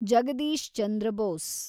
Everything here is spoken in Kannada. ಜಗದೀಶ್ ಚಂದ್ರ ಬೋಸ್